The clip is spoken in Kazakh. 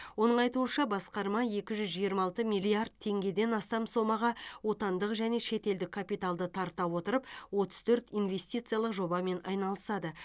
оның айтуынша басқарма екі жүз жиырма алты миллиард теңгеден астам сомаға отандық және шетелдік капиталды тарта отырып отыз төрт инвестициялық жобамен айналысады